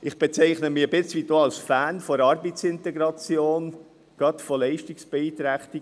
Ich bezeichne mich ein Stück weit auch als Fan der Arbeitsintegration, gerade von Leistungsbeeinträchtigen;